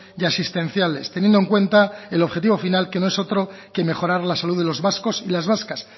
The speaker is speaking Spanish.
y asistenciales teniendo en cuenta el objetivo final que no es otro que mejorar la salud de los vascos y las vascas